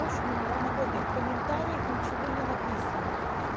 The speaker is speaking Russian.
номера накладных в комментариях ничего не написано